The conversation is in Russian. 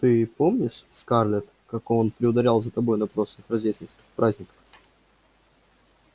ты помнишь скарлетт как он приударял за тобой на прошлых рождественских праздниках